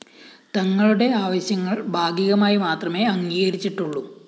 തങ്ങളുടെ ആവശ്യങ്ങള്‍ ഭാഗികമായി മാത്രമേ അംഗീകരിച്ചിട്ടുള്ളു